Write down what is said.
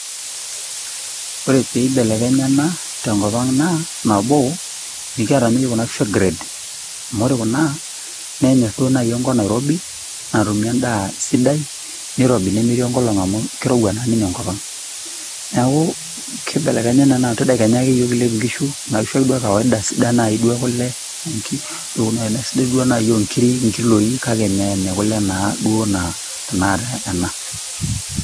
Ore pee eibelekenya ena te enkop aang' naa nabo, mekiata ninye yiok Kuna kishu e grade, amu ore Kuna nenyor duo enkop nairobi, natumie endaa sidai, neirobi nemetii enkolong' amu keirouwa naa ninye enkop aang'. Neaku keibelekenya naa amu ke tadekenya ake yiok kilep inkishu , Kuna kishu naa e kawaidaa duo e kulle o nkirik, naa kitoduo duo ajo aisidai duo inkiri o nkiloi kake Mee ine kulle naa duo anaa tenakata ena.